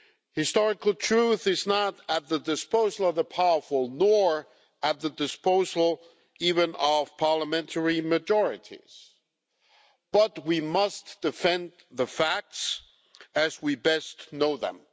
Historical truth is not at the disposal of the powerful, nor at the disposal even of parliamentary majorities, but we must defend the facts as we best know them.